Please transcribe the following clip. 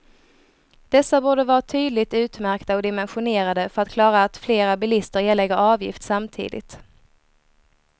Dessa borde vara tydligt utmärkta och dimensionerade för att klara att flera bilister erlägger avgift samtidigt.